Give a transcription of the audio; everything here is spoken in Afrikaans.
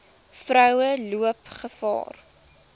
vroue loop gevaar